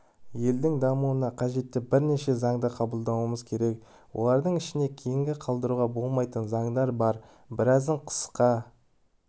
елдің дамуына қажетті бірнеше заңды қабылдауымыз керек олардың ішінде кейінге қалдыруға болмайтын заңдар бар біразын қысқа